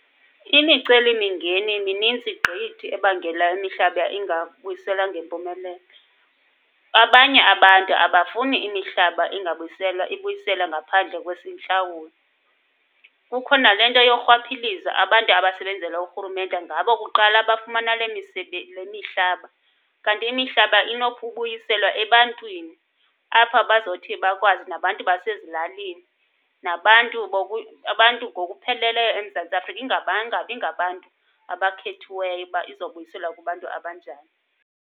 Imicelimingeni minintsi gqithi ebangela imihlaba ingabuyiselwa ngempumelelo. Abanye abantu abafuni imihlaba ingabuyiselwa ibuyiselwe ngaphandle kwesintlawulo. Kukho nale nto yorhwaphilizo. Abantu abasebenzela urhurumente ngabo kuqala abafumana le le mihlaba. Kanti imihlaba inokubuyiselwa ebantwini apha bazothi bakwazi nabantu basezilalini, nabantu abantu ngokupheleleyo eMzantsi Afrika ingabanga ingabi ngabantu abakhethiweyo uba izobuyiselwa kubantu abanjani.